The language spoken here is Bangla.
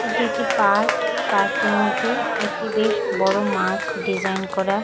এটি একটি পার্ক পার্ক -টির মধ্যে একটি বেশ বড় মাছ ডিজাইন করা।